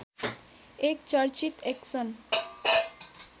एक चर्चित एक्सन्